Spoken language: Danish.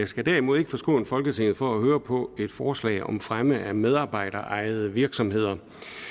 skal derimod ikke forskåne folketinget for at høre på et forslag om fremme af medarbejderejede virksomheder